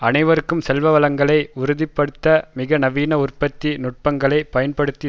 அனைவருக்கும் செல்வவளங்களை உறுதி படுத்த மிக நவீன உற்பத்தி நுட்பங்களைப் பயன்படுத்தி